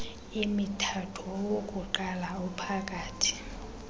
emithathu owokuqala ophakathi